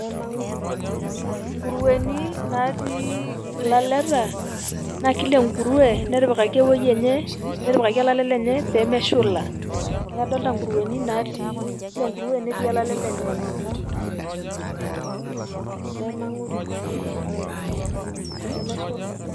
Inkurueni natii ilaleta, na kila enkurue netipikaki ewuei enye, netipikaki olale lenye pemeshula. Neeku kadolta inkurueni natii, kila enkurue netii olale lenye. [] pemeshulai.